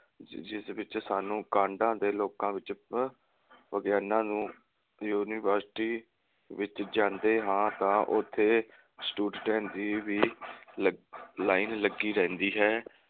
ਜਿਸ ਵਿਚ ਸਾਨੂੰ ਦੇ ਲੋਕਾਂ ਵਿਚ ਵਿਗਿਆਨਾਂ ਨੂੰ university ਵਿਚ ਜਾਂਦੇ ਹਾਂ ਤਾ ਉਥੇ student ਦੀ ਵੀ line ਲੱਗੀ ਰਹਿੰਦੀ ਹੈ।